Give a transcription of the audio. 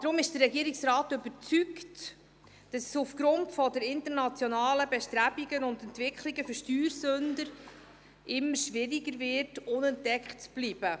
Deshalb ist der Regierungsrat überzeugt, dass es aufgrund der internationalen Bestrebungen und Entwicklungen für Steuersünder immer schwieriger wird, unentdeckt zu bleiben.